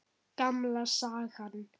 Gamla sagan.